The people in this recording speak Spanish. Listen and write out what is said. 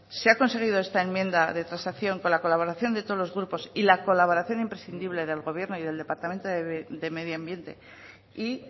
se ha conseguido esta enmienda de transacción con la colaboración de todos los grupos y la colaboración imprescindible del gobierno y del departamento de medio ambiente y